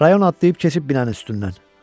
Rayon atlayıb keçib binənin üstündən.